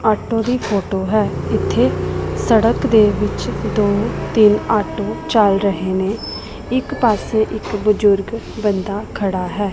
Auto ਦੀ photo ਹੈ ਇੱਥੇ ਸੜਕ ਦੇ ਵਿੱਚ ਦੋ ਤਿੰਨ ਆਟੋ ਚਲ ਰਹੇ ਨੇ ਇੱਕ ਪਾਸੇ ਇੱਕ ਬਜ਼ੁਰਗ ਬੰਦਾ ਖੜਾ ਹੈ।